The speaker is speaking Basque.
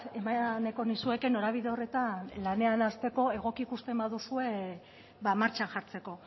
eman nahiko nizueke norabide horretan lanean hasteko egoki ikusten baduzue martxan jartzeko